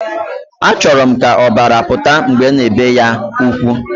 Achoro m ka obara futat mbge ana ebe ya ukwu.